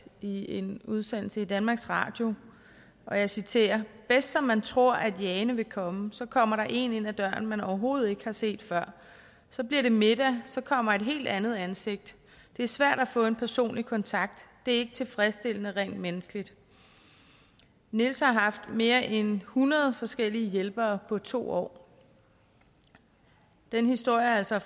i en udsendelse i danmarks radio og jeg citerer bedst som man tror at jane vil komme så kommer der én ind ad døren som man overhovedet ikke har set før så bliver det middag så kommer et helt andet ansigt det er svært at få en personlig kontakt det er ikke tilfredsstillende rent menneskeligt niels har haft mere end hundrede forskellige hjælpere på to år den historie er altså